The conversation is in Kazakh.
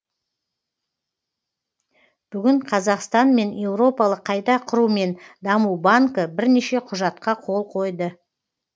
бүгін қазақстан мен еуропалық қайту құру мен даму банкі бірнеше құжатқа қол қойды